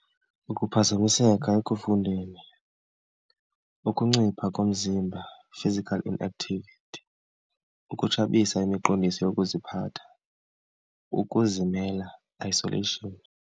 Ukuphazamiseka ekufundeni, ukuncipha komzimba, physical inactivity. Ukutshabisa imiqondiso yokuziphatha. Ukuzimela, isolation.